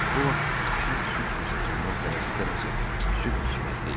Bu vaxt pişik süd kasasından tələsə-tələsə süd içməkdə idi.